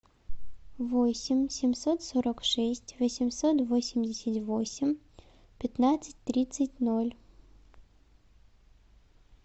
восемь семьсот сорок шесть восемьсот восемьдесят восемь пятнадцать тридцать ноль